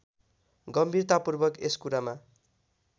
गम्भीरतापूर्वक यस कुरामा